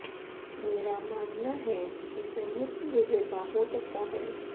मेरा मानना है कि संयुक्त विजेता हो सकता है